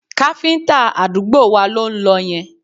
Káfíńtà àdúgbò wa ló ń lọ yẹn